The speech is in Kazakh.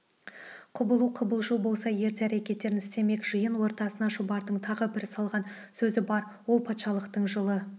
құбылу-қыбылжу болса ерте әрекеттерін істемек жиын ортасына шұбардың тағы бір салған сөзі бар ол патшалықтың жыл